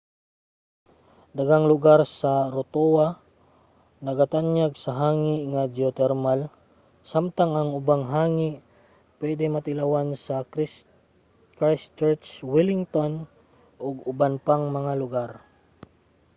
daghang lugar sa rotorua nagatanyag og hangi nga geotermal samtang ang ubang hangi pwede matilawan sa christchurch wellington ug sa uban pang lugar